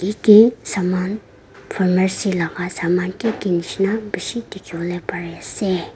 yate saman pharmacy laga saman kiki bishih dekhi bole pari ase.